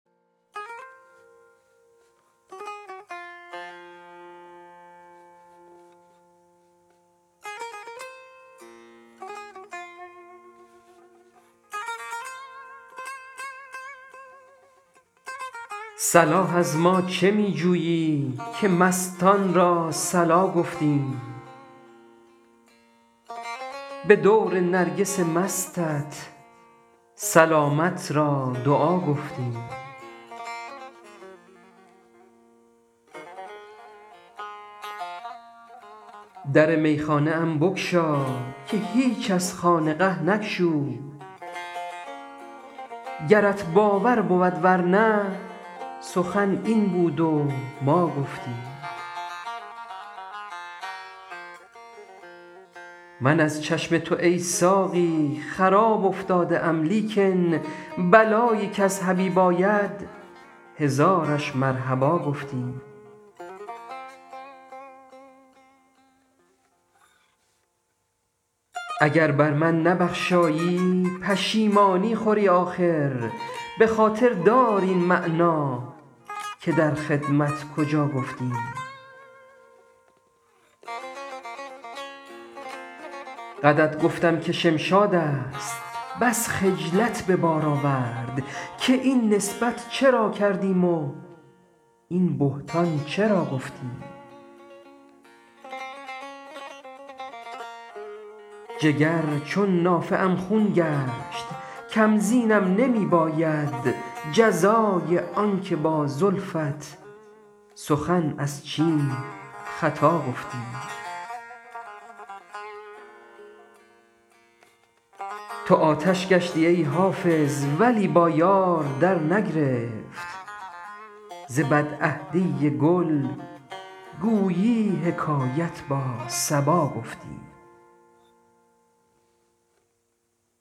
صلاح از ما چه می جویی که مستان را صلا گفتیم به دور نرگس مستت سلامت را دعا گفتیم در میخانه ام بگشا که هیچ از خانقه نگشود گرت باور بود ور نه سخن این بود و ما گفتیم من از چشم تو ای ساقی خراب افتاده ام لیکن بلایی کز حبیب آید هزارش مرحبا گفتیم اگر بر من نبخشایی پشیمانی خوری آخر به خاطر دار این معنی که در خدمت کجا گفتیم قدت گفتم که شمشاد است بس خجلت به بار آورد که این نسبت چرا کردیم و این بهتان چرا گفتیم جگر چون نافه ام خون گشت کم زینم نمی باید جزای آن که با زلفت سخن از چین خطا گفتیم تو آتش گشتی ای حافظ ولی با یار درنگرفت ز بدعهدی گل گویی حکایت با صبا گفتیم